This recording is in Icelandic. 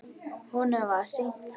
Honum var sýnt það.